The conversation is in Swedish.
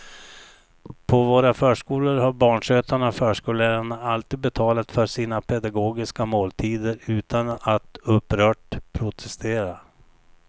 På våra förskolor har barnskötarna och förskollärarna alltid betalat för sina pedagogiska måltider utan att upprört protestera.